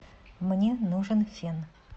мне нужен фен